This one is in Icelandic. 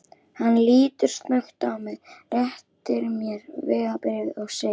Hann lítur snöggt á mig, réttir mér vegabréfið og segir